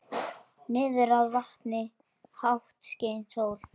Niðrað vatni, hátt skein sól.